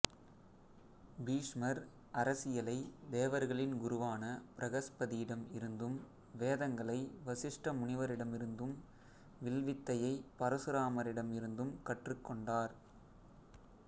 பீஷ்மர் அரசியலை தேவர்களின் குருவான பிரகஸ்பதியிடம் இருந்தும் வேதங்களை வசிஷ்ட முனிவரிடமிருந்தும் வில்வித்தையை பரசுராமரிடம் இருந்தும் கற்றுக்கொண்டார்